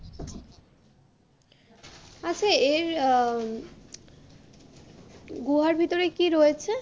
আচ্ছা এর আহ গুহার ভিতরে কি রয়েছে?